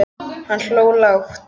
Hann hló lágt.